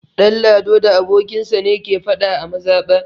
Ɗanlado da abokansa ne ke faɗa a mazaɓa.